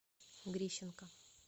грищенко